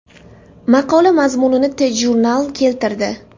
Maqola mazmunini TJournal keltirdi .